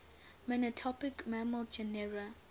monotypic mammal genera